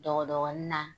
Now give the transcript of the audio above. Dɔgɔdɔgɔnin na